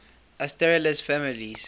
asterales families